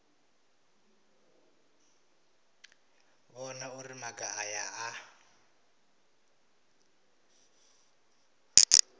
vhona uri maga aya a